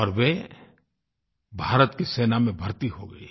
और वे भारत की सेना में भर्ती हो गयीं